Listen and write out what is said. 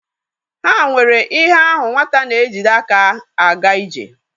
Ha nwere ihe ahu nwata na-ejide aka a ga-ije.